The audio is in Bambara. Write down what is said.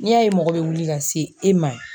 N'i y'a ye mɔgɔ bɛ wuli ka se e ma